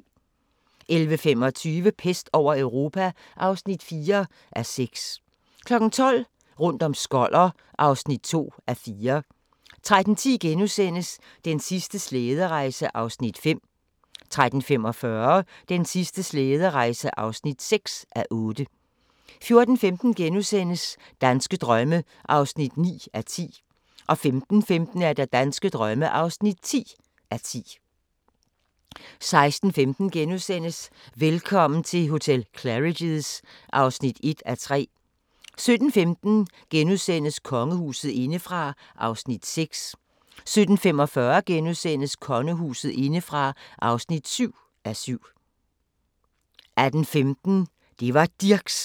11:25: Pest over Europa (4:6) 12:00: Rundt om Skoller (2:4) 13:10: Den sidste slæderejse (5:8)* 13:45: Den sidste slæderejse (6:8) 14:15: Danske drømme (9:10)* 15:15: Danske drømme (10:10) 16:15: Velkommen til hotel Claridge's (1:3)* 17:15: Kongehuset indefra (6:7)* 17:45: Kongehuset indefra (7:7)* 18:15: Det var Dirchs!